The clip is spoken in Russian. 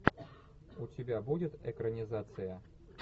у тебя будет экранизация